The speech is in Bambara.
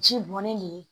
Ji bɔnnen le ye